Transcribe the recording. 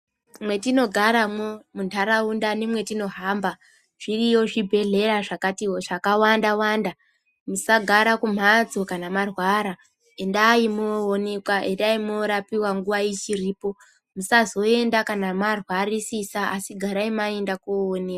Mwetinogaramwo muntaraunda nemwetinohamba zviriyo zvibhehleya zvakawanda wanda. Musagara kumhatso kana marwara endai mwoonekwa endai mworapiwa nguwa ichipo musazoenda kana marwarisa asi garai maenda koonekwa.